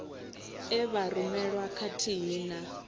e vha rumelwa khathihi na